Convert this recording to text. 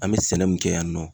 An bɛ sɛnɛ mun kɛ yan nɔ